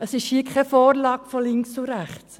Es ist keine Vorlage von links und rechts.